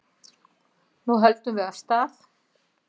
Nú höldum við af stað